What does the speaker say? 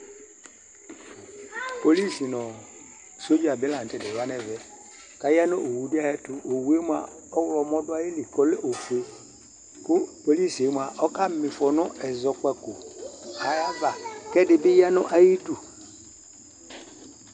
Polɩs ŋʊ sɔɖza bi laŋutɛ ya ŋɛʋɛ, aya nʊ owʊ dɩ ayɛtʊ Owʊe mua ɔwlɔmɔ dʊ ayɩlɩ kɔlɛ ofʊe Kʊ polɩs ɔka mɩfɔ ŋu ɛzɔkpaƙo ayava Kɛdibɩ ƴa ŋʊ ayɩdʊ